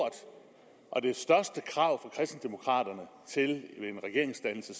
er det største krav til en regeringsdannelse